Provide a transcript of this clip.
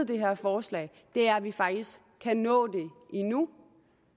det her forslag det er at vi faktisk kan nå det endnu